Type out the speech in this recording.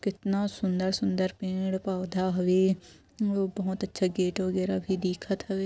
इतना सुन्दर-सुन्दर पैड़-पौधा हवे बहोत अच्छा गेट वग़ैरा भी दिखत हवे।